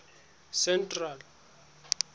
central